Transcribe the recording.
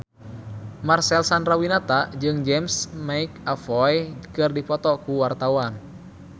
Marcel Chandrawinata jeung James McAvoy keur dipoto ku wartawan